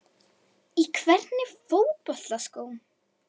Í hvernig fótboltaskóm?